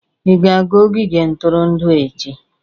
Ị ga-aga ogige ntụrụndụ echi?